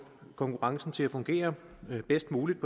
konkurrencen til at fungere bedst muligt